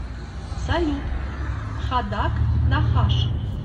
салют хадаг нахаш